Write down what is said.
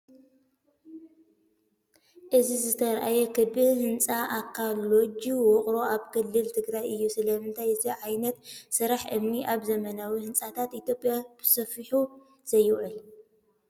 እዚ ዝተርኣየ ክቢ ህንፃ ኣካል ሎጅ ውቕሮ ኣብ ክልል ትግራይ እዩ። ስለምንታይ እዚ ዓይነት ስራሕ እምኒ ኣብ ዘመናዊ ህንፃታት ኢትዮጵያ ብሰፊሑ ዘይውዕል?